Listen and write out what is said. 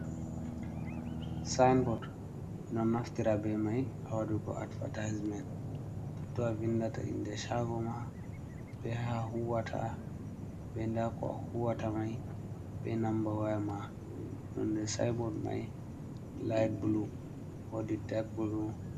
Sinbot ɓe ɗon naftira be mai ha waɗugo atvertiseman, toton a vindata inde shago ma, be ha huwata, be nda ko a huwata mai, be namba waya ma, nonde sinbot mai lit blu wodi dag blu.